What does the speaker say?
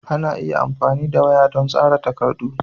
Ana iya amfani da waya don tsara takardu.